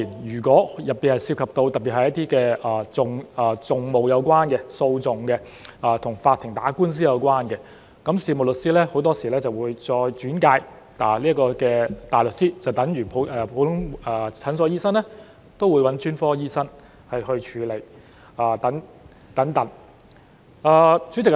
如果涉及到特別是一些與訟務、訴訟或法庭打官司有關的事宜，事務律師很多時候就會將個案再轉介大律師，就等於普通診所醫生都會找專科醫生處理特別情況。